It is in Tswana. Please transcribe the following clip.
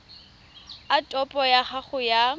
a topo ya gago ya